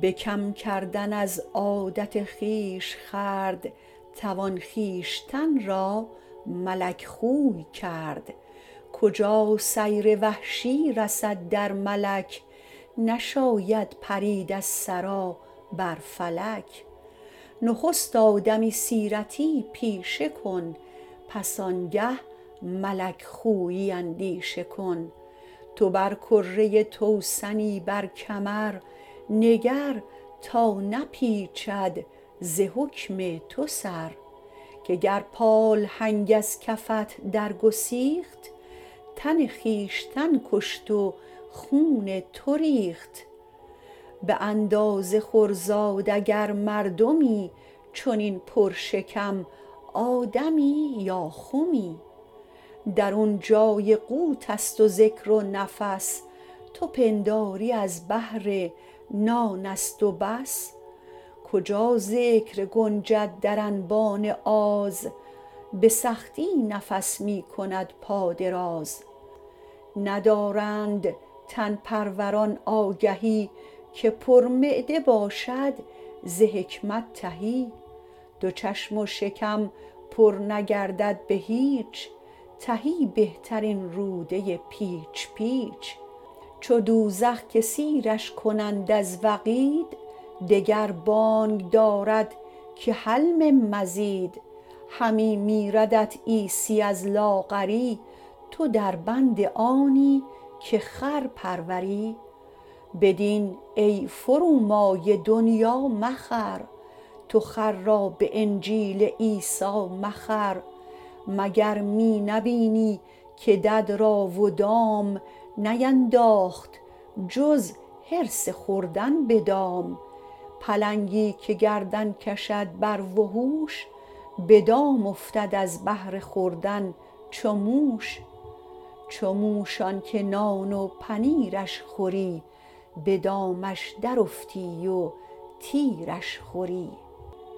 به کم کردن از عادت خویش خورد توان خویشتن را ملک خوی کرد کجا سیر وحشی رسد در ملک نشاید پرید از ثری بر فلک نخست آدمی سیرتی پیشه کن پس آن گه ملک خویی اندیشه کن تو بر کره توسنی بر کمر نگر تا نپیچد ز حکم تو سر که گر پالهنگ از کفت در گسیخت تن خویشتن کشت و خون تو ریخت به اندازه خور زاد اگر مردمی چنین پر شکم آدمی یا خمی درون جای قوت است و ذکر و نفس تو پنداری از بهر نان است و بس کجا ذکر گنجد در انبان آز به سختی نفس می کند پا دراز ندارند تن پروران آگهی که پر معده باشد ز حکمت تهی دو چشم و شکم پر نگردد به هیچ تهی بهتر این روده پیچ پیچ چو دوزخ که سیرش کنند از وقید دگر بانگ دارد که هل من مزید همی میردت عیسی از لاغری تو در بند آنی که خر پروری به دین ای فرومایه دنیا مخر تو خر را به انجیل عیسی مخر مگر می نبینی که دد را و دام نینداخت جز حرص خوردن به دام پلنگی که گردن کشد بر وحوش به دام افتد از بهر خوردن چو موش چو موش آن که نان و پنیرش خوری به دامش در افتی و تیرش خوری